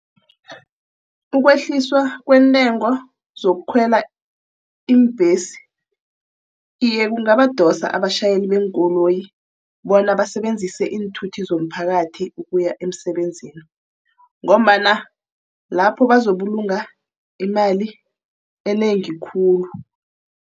Ukwehliswa kwentengo zokukhwela iimbhesi. Iye, kungabadosa abatjhayeli beenkoloyi bona basebenzise iinthuthi zomphakathi ukuya emsebenzini ngombana lapho bazokubulunga imali enengi khulu.